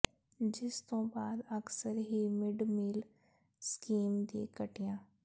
ਜਿਸ ਤੋਂ ਬਾਅਦ ਅਕਸਰ ਹੀ ਮਿਡ ਮੀਲ ਸਕੀਮ ਦੀ ਘਟੀਆਂ